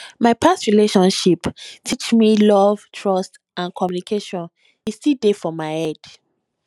my past relationship teach me love trust and communication e still dey for my head